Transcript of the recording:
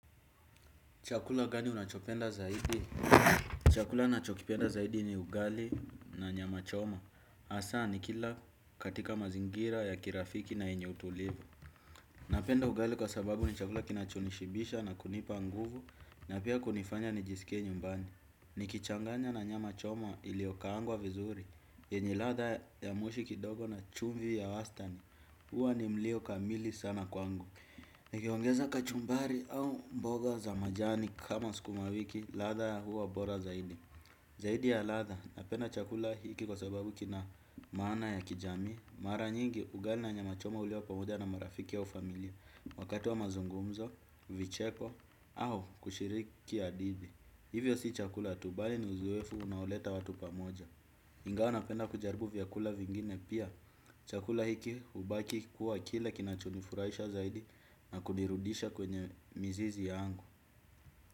Chakula gani unachopenda zaidi? Chakula nachokipenda zaidi ni ugali na nyama choma. Hassa nikila katika mazingira ya kirafiki na yenye utulivu. Napenda ugali kwa sababu ni chakula kinachonishibisha na kunipa nguvu na pia kunifanya nijiskie nyumbani. Nikichanganya na nyama choma iliyokaangwa vizuri. Yenye ladha ya moshi kidogo na chumvi ya wastani. Huwa ni mlio kamili sana kwangu. Nikiongeza kachumbari au mboga za majani kama sukuma wiki, ladha huwa bora zaidi. Zaidi ya ladha, napenda chakula hiki kwa sababu kina maana ya kijami. Mara nyingi, ugali na nyama choma huliwa pamoja na marafiki au familia, wakati wa mazungumzo, vicheko, au kushiriki hadithi. Hivyo si chakula tu bali ni uzoefu unaoleta watu pamoja. Ingawa napenda kujaribu vyakula vingine pia. Chakula hiki hubaki kuwa kile kinachonifurahisha zaidi na kunirudisha kwenye mizizi yangu.